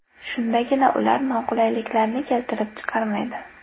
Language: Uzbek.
Shundagina ular noqulayliklarni keltirib chiqarmaydi.